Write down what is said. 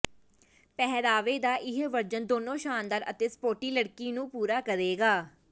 ਪਹਿਰਾਵੇ ਦਾ ਇਹ ਵਰਜਨ ਦੋਨੋ ਸ਼ਾਨਦਾਰ ਅਤੇ ਸਪੋਰਟੀ ਲੜਕੀ ਨੂੰ ਪੂਰਾ ਕਰੇਗਾ